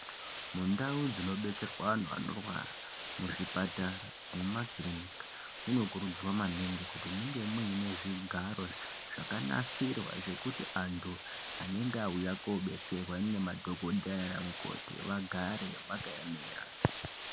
Mundau dzinobetserwa antu anorwara muzvipatara nemumakirinika. Munokurudzirwa naningi kuti munge muine zvigaro zvakanasirwa zvekuti antu anenge auya kobetserwa ngemadhogodheya nana mukoti vagare vakaemera.